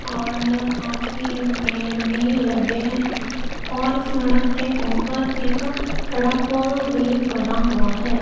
और काफी पेड़ भी लगे हैं और इस सड़क के ऊपर एक बड़ा पुल भी बना हुआ है।